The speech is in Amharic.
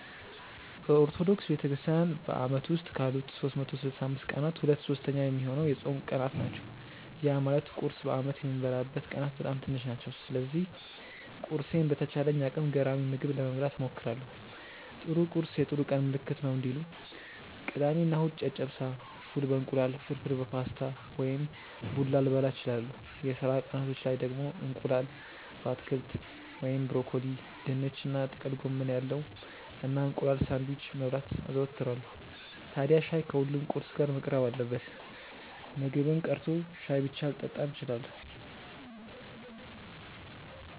በኦርቶዶክስ ቤተክርስትያን በአመት ውስጥ ካሉት 365 ቀናት ሁለት ሶስተኛ ሚሆነው የጾም ቀናት ናቸው። ያ ማለት ቁርስ በአመት የምበላበት ቀናት በጣም ትንሽ ናቸው። ስለዚህ ቁርሴን በተቻለኝ አቅም ገራሚ ምግብ ለመብላት እሞክራለው 'ጥሩ ቁርስ የጥሩ ቀን ምልክት ነው' እንዲሉ። ቅዳሜ እና እሁድ ጨጨብሳ፣ ፉል በ እንቁላል፣ ፍርፍር በፓስታ ወይም ቡላ ልበላ እችላለው። የስራ ቀናቶች ላይ ደግሞ እንቁላል በአትክልት (ብሮኮሊ፣ ድንች እና ጥቅል ጎመን ያለው) እና እንቁላል ሳንድዊች መብላት አዘወትራለው። ታድያ ሻይ ከሁሉም ቁርስ ጋር መቅረብ አለበት። ምግብም ቀርቶ ሻይ ብቻ ልጠጣም እችላለው።